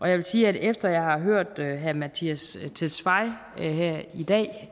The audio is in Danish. jeg vil sige at efter jeg har hørt herre mattias tesfaye her i dag